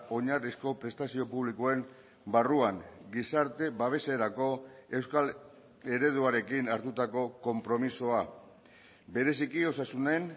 oinarrizko prestazio publikoen barruan gizarte babeserako euskal ereduarekin hartutako konpromisoa bereziki osasunen